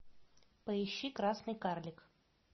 поищи красный карлик